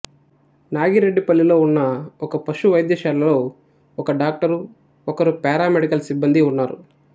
నాగిరెడ్డిపల్లిలో ఉన్న ఒక పశు వైద్యశాలలో ఒక డాక్టరు ఒకరు పారామెడికల్ సిబ్బందీ ఉన్నారు